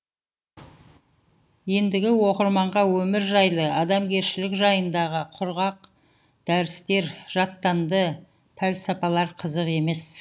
ендігі оқырманға өмір жайлы адамгершілік жайындағы құрғақ дәрістер жаттанды пәлсапалар қызық емес